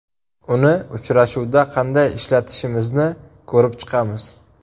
Uni uchrashuvda qanday ishlatishimizni ko‘rib chiqamiz.